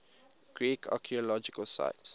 greek archaeological sites